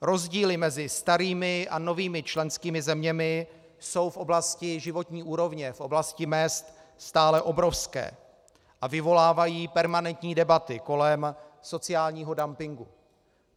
Rozdíly mezi starými a novými členskými zeměmi jsou v oblasti životní úrovně, v oblasti mezd stále obrovské a vyvolávají permanentní debaty kolem sociálního dumpingu.